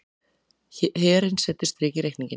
Herinn setur strik í reikninginn